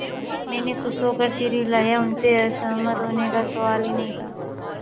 मैंने खुश होकर सिर हिलाया उनसे असहमत होने का सवाल ही नहीं था